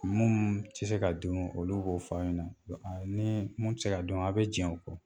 Mun te se ka dun olu b'o f'a' ɲɛna wa a nii mun ti se ka dun a' be diɲɛ o kɔ.